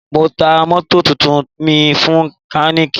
Ma ta mótò tuntun mi fún mekaniki